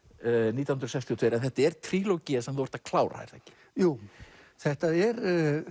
nítján hundruð sextíu og tvö en þetta er trílógía sem þú ert að klára er það ekki þetta er